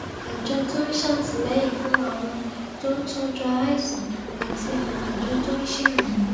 àjọ tó ń ṣàtìléyìn fún àwọn tó ń tójú aláìsàn àti àwọn àjọ tó ń ṣèrànwó